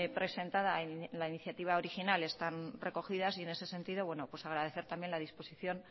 presentada en la iniciativa original están recogidas y en ese sentido bueno pues agradecer también la disposición